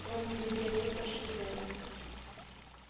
кроме библиотекарши зои